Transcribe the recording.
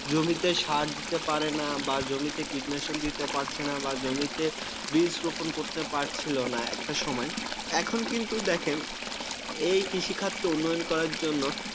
জমিতে সার দিতে পারে না। বা জমিতে কীটনাশক দিতে পারছে না বা জমিতে বীজ রোপণ করতে পারছিল না। একটা সময়. এখন কিন্তু দেখেন, এই কৃষি খাতকে উন্নয়ন করার জন্য